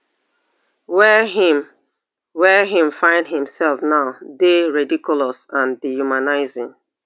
wey im wey im find imsef now dey ridiculous and dehumanising